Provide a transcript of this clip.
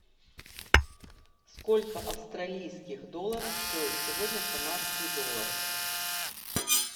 сколько австралийских долларов стоит сегодня канадский доллар